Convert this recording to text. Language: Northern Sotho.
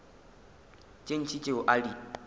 tše ntši tšeo a di